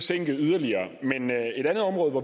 ja